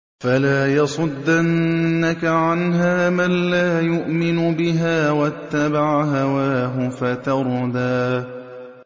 فَلَا يَصُدَّنَّكَ عَنْهَا مَن لَّا يُؤْمِنُ بِهَا وَاتَّبَعَ هَوَاهُ فَتَرْدَىٰ